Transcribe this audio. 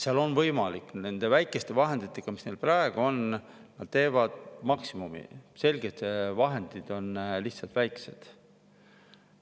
Seal nad teevad nende väikeste vahenditega, mis neil praegu on, maksimumi, aga vahendid on selgelt väiksed.